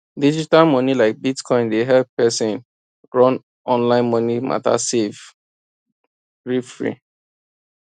digital money like bitcoin dey help person run online money matter safe greefree